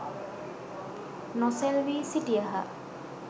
නොසෙල්වී සිටියහ.